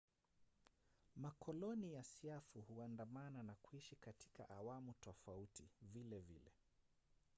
makoloni ya siafu huandamana na kuishi katika awamu tofauti vilevile